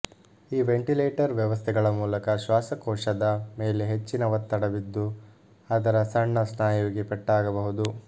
ಈ ವೆಂಟಿಲೇಟರ್ ವ್ಯವಸ್ಥೆಗಳ ಮೂಲಕ ಶ್ವಾಸಕೋಶದ ಮೇಲೆ ಹೆಚ್ಚಿನ ಒತ್ತಡ ಬಿದ್ದು ಅದರ ಸಣ್ಣ ಸ್ನಾಯುವಿಗೆ ಪೆಟ್ಟಾಗಬಹುದು